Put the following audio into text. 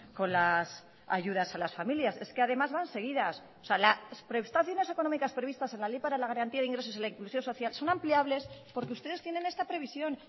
con las ayudas a las familias es que además van seguidas o sea las prestaciones económicas previstas en la ley para la garantía de ingresos en la inclusión social son ampliables porque ustedes tienen esta previsión